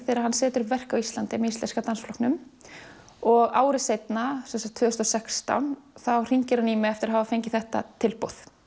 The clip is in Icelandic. þegar hann setur upp verk á Íslandi með Íslenska dansflokknum og ári seinna sem sagt tvö þúsund og sextán þá hringir hann í mig eftir að hafa fengið þetta tilboð